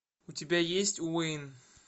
у тебя есть уэйн